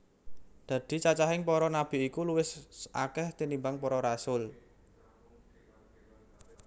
Dadi cacahing para nabi iku luwih akèh tinimbang para rasul